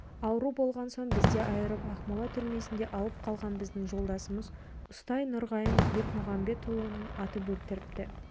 ауру болған соң бізден айырып ақмола түрмесінде алып қалған біздің жолдасымыз ұстаз нұрғайын бекмұқамбетұлын атып өлтіріпті